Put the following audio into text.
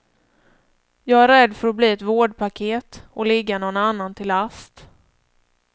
Jag är rädd för att bli ett vårdpaket, att ligga någon annan till last.